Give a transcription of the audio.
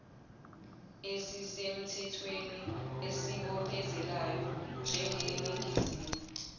esisemthwethweni esibophezelayo njengeningizimu